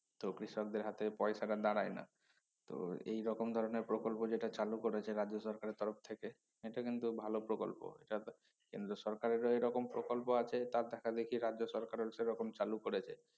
তো কৃষকদের হাতে পয়সাটা দাড়ায় না তো এই রকম ধরনের প্রকল্প যেটা চালু করেছে রাজ্য সরকারের তরফ থেকে সেটা কিন্তু ভালো প্রকল্প সাথে কেন্দ্র সরকারেরও এইরকম প্রকল্প আছে তার দেখাদেখি রাজ্য সরকারও সে রকম চালু করেছে